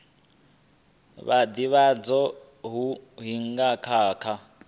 vhudavhidzano ha hingo na kha